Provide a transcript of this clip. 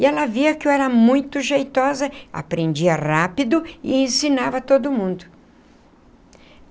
E ela via que eu era muito jeitosa, aprendia rápido e ensinava a todo mundo.